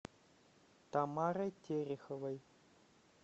тамарой тереховой